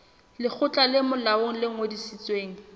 lekgotla le molaong le ngodisitsweng